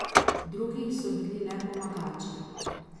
Drugi so bili le pomagači.